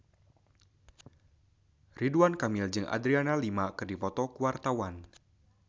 Ridwan Kamil jeung Adriana Lima keur dipoto ku wartawan